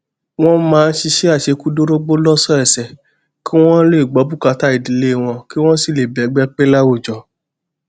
wón máa ń ṣiṣé àṣekúdórógbó lósòòsè kí wón lè gbó bùkátà ìdílé wọn kí wón sì lè bẹgbẹ pé láwùjọ